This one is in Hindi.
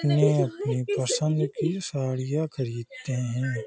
अपने-अपने पसंद की साड़ियाँ खरीदते हैं ।